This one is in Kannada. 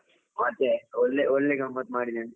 ಮತ್ತೆ, ಒಳ್ಳೆ ಒಳ್ಳೆ ಗಮ್ಮತ್ ಮಾಡಿದ್ದೇನೆ.